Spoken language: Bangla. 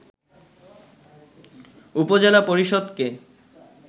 উপজেলা পরিষদকে